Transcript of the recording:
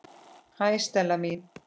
Hæ, Stella mín.